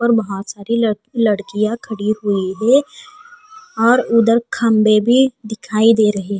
और बहुत सारी लड़ लड़कियां खड़ी हुई है और उधर खंभे भी दिखाई दे रहे।